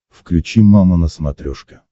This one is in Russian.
включи мама на смотрешке